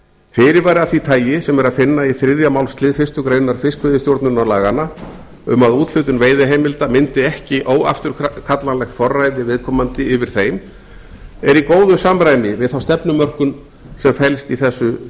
fyrirvara af því tagi sem er að finna í þriðja málslið fyrstu grein fiskveiðistjórnarlaganna um að úthlutun veiðiheimilda myndi ekki óafturkallanlegt forræði viðkomandi yfir þeim er í góðu samræmi við þá stefnumörkun sem felst í þessu